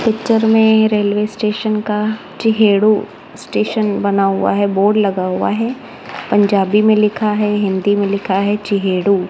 Picture में railway station का Chiheru station बना हुआ है। बोर्ड लगा हुआ है। पंजाबी में लिखा है हिंदी में लिखा है चिहेडू ।